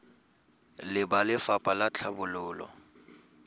le ba lefapha la tlhabololo